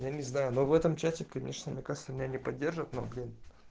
я не знаю но в этом чате конечно мне кажется меня не поддержат но блин